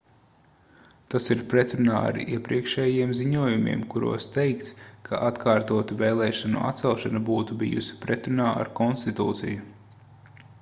tas ir pretrunā ar iepriekšējiem ziņojumiem kuros teikts ka atkārtotu vēlēšanu atcelšana būtu bijusi pretrunā ar konstitūciju